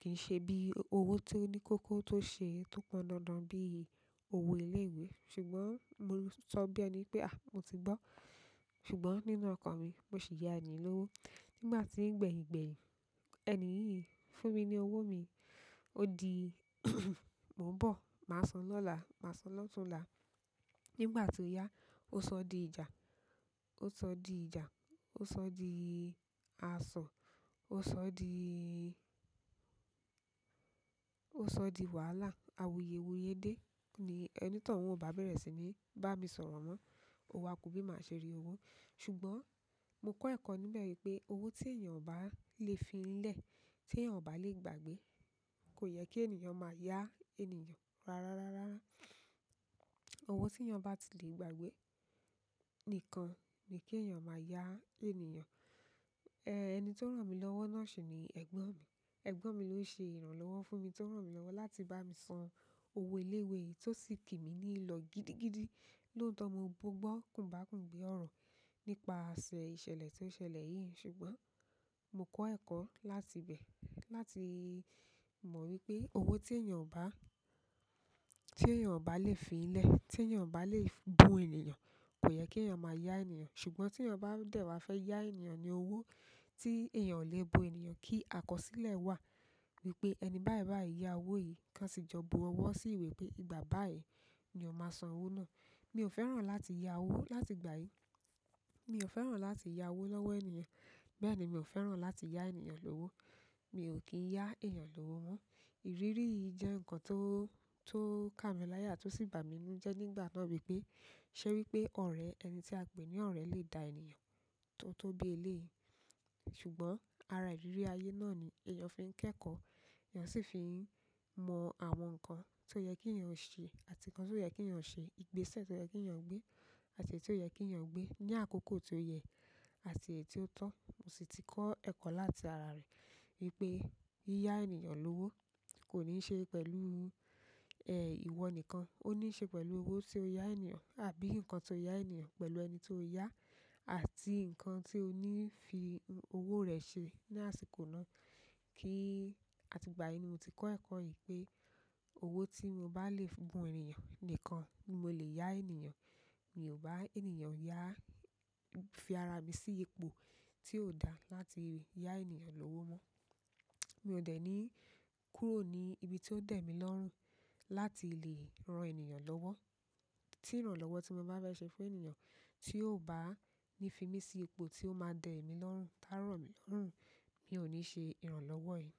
Kì í ṣe bí owó tó ní kókó tó ṣe tó pọn dandan bí owó ilé-iwẹ́." Sùgbọ́n mo sọ bí ẹni pé "mo ti gbọ́." Sùgbọ́n nínú ọ̀kàn mi, mo sì ya ẹni yìí lówó. Nígbà tí ń gbẹ̀yìn gbẹ̀yìn, ẹni yìí yìí fún mi ní owó mi, ó di "Mò ń bọ̀, màá san lọ́la, màá san lọ́tunla." Nigbà tí ó yá, ó sọ di ìjà, ó sọ di ìjà, ó sọ di aṣọ, ó sọ di, ó sọ di wàhálà, awuyéwuyé dé. Ní ẹni tóuń o bá bẹ̀rẹ̀ sí ní bá mi sọ̀rọ̀ mọ́, ò wà kú bí màá ṣe rí owó. Ṣùgbọ́n mo kọ́ ẹ̀kọ́ níbẹ̀ wipé owó tí èèyàn o bá lè fi i lẹ̀, tí èèyàn o bá lè gbà gbé, kò yẹ kí ènìyàn máa ya ènìyàn. Rárá rárá. Owó tí èèyàn bá ti lè gbà gbé nìkan ni kí èèyàn máa ya ènìyàn. Èni tó ràn mí lọ́wọ́ náà ṣì ni ẹ̀gbọ́n mi. Ẹgbọn mi lo se ìrànlọ́wọ́ fún mi to ran mi lọwọ láti ba mi san owo ile ìwé yìí to si ki mi ni ilo gidigidi. Lótọ mo gbọ́, kùbákùgbe ọ̀rọ̀ nípa ṣẹ ìṣẹ̀lẹ̀ tó ṣẹlẹ̀ yìí. Ṣùgbọ́n mo kọ́ ẹ̀kọ́ láti ibẹ̀ láti mọ̀ wípé owó tí èèyàn o bá lè fi i lẹ̀, tí èèyàn o bá lè bu ènìyàn, kò yẹ kí èèyàn máa ya ènìyàn. Ṣùgbọ́n tí èèyàn bá dẹ̀ wá fẹ́ ya ènìyàn ní owó tí èèyàn ò lè bu ènìyàn, kí àkọsílẹ̀ wà wípé "ẹni báyìí báyìí yá owó yìí kan sì jọ bu ọwọ́ sí ìwé pé "ìgbà báyìí ni o máa san owó náà." Mi ò fẹ́ràn láti ya owó láti ìgbà yìí. Mi ò fẹ́ràn láti ya owó lọ́wọ́ ènìyàn. Bẹ́ẹ̀ni mi o fẹ́ràn láti yaa ènìyàn lówó. Mi ò kì í ya èèyàn lówó mọ́. Ìrírí yìí jẹ́ nǹkan tó kà mí láyà tó sì bà mí ínú jẹ́ nígbà náà wípé "ṣẹ́ wípé ọ̀rẹ́, ẹni tí a pè ní ọ̀rẹ́ lè da ènìyàn tó tó bi i eleyìí?" Sùgbọ́n ara ìrírí ayé náà ni èèyàn fi i kẹ́kọ̀ọ́, èèyàn sì fi i mọ àwọn nǹkan tó yẹ kí eeyan ṣe àti nǹkan ti o yẹ kí èèyàn ṣe, ìgbésẹ̀ tó yẹ kí èèyàn gbé àti èyí ti o yẹ kí èèyàn gbé. Ní àkókò tí ó yẹ àti èyí tí ó tọ́. Mo sì ti kọ́ ẹ̀kọ́ láti ara rẹ̀ wípé "yiyá ènìyàn lówó kò ní ṣe pẹ̀lú, ìwọ nìkan, ó ní ṣe pẹ̀lú owó tí o ya ènìyàn àbí nǹkan tó ya ènìyàn pẹ̀lú ẹni tó yà áti nǹkan tí o ní fi owó rẹ̀ ṣe ní àsìkò náà." Ati ìgbà yen ni mo ti ko ẹkọ yìí pe owo ti mo ba le bù ènìyàn nìkan ni mo le ya ènìyàn. Mi ò bá ènìyàn yá, fi ara mi sí ipò tí ò dá láti ya ènìyàn lówó mọ́." Mi o de ni kúrò ni ìbí ti o de mi lọrun láti le ran ènìyàn lọwọ tí ìrànlọ́wọ́ tí mo bá fẹ́ ṣe fún ènìyàn tí ò bá ní fi mí sí ipò tí ó máa dẹ̀ emí lọ́rùn, tà rọ mí lọ́rùn, mi ò ní ṣe ìrànlọ́wọ́ yìí.